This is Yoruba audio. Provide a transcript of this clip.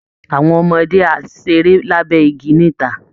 Àwọn ọmọdé á ṣeré lábẹ́ igi níta